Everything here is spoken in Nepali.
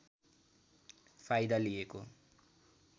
फाइदा लिएको